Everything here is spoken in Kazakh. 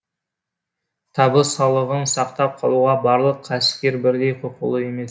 табыс салығын сақтап қалуға барлық кәсіпкер бірдей құқылы емес